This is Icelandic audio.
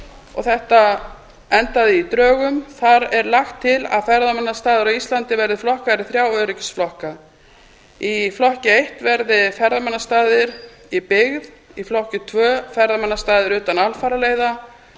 og þetta endaði í drögum þar er lagt til að ferðamannastaðir á íslandi verði flokkaðir í þrjá öryggisflokka í flokki eitt verði ferðamannastaðir í byggð í flokki tvö ferðamannastaðir utan alfaraleiða